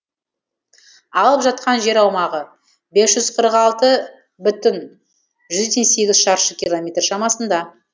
алып жатқан жер аумағы бес жүз қырық алты бүтін жүзде сегіз шаршы километр шамасында